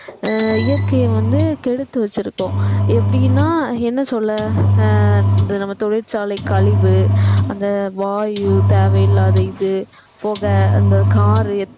அஹ் இயற்கையை வந்து கெடுத்து வச்சிருக்கோம் எப்படின்னா என்ன சொல்ல அஹ் இந்த நம்ம தொழிற்சாலை கழிவு அந்த வாயு தேவையில்லாத இது புகை அந்த car